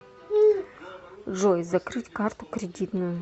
джой закрыть карту кредитную